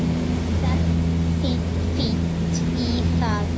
Ferð fínt í það.